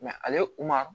ale kun ma